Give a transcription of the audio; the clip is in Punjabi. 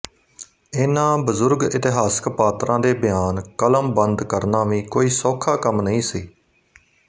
ਇਨ੍ਹਾਂ ਬਜ਼ੁਰਗ ਇਤਿਹਾਸਕ ਪਾਤਰਾਂ ਦੇ ਬਿਆਨ ਕਲਮਬੰਦ ਕਰਨਾ ਵੀ ਕੋਈ ਸੌਖਾ ਕੰਮ ਨਹੀਂ ਸੀ